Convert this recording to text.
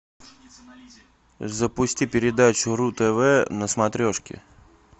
запусти передачу ру тв на смотрешке